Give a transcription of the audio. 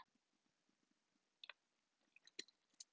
Ólína, hvaða vikudagur er í dag?